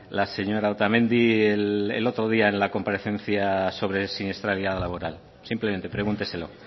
la señora otamendi el otro día en la comparecencia sobre siniestralidad laboral simplemente pregúnteselo